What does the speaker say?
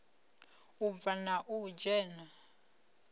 u bva na u dzhena